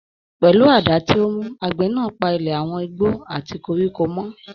Pẹlú àdá tí ó mú, àgbẹ̀ náà pa ilẹ̀ àwọn igbó àti koríko mọ́.